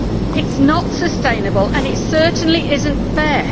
It is not sustainable, and it certainly is not fair.